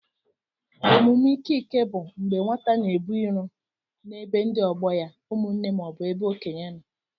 Ọmụme ike ike bụ mgbé nwata na-ebu irò na-ebe ndị ọgbọ ya, ụmụnne maọbu ebe okénye nọ.